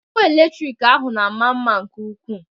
Ọkụ eletrik ahụ na-ama mma nke ụkwụ.